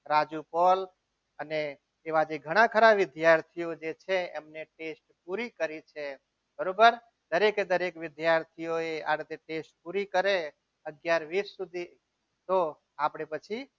Raju call અને એવા જે ઘણા ઘણા વિદ્યાર્થીઓ જે છે એમને test પૂરું કરીને બરાબર દરેકે દરેક વિદ્યાર્થીએ આ રીતે test પૂરી કરે અત્યારે વીસ સુધી તો આપણે પછી